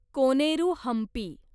Koneru Hampi